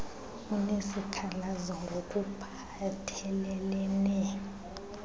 unesikhalazo ngok uphathelelene